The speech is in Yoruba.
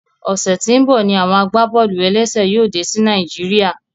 Ọsẹ tí n bọ ní àwọn agbábọ́ọlù-ẹlẹ́sẹ̀ yóò dé sí Naijiria